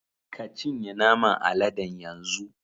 Ka cinye naman aladen yanzu.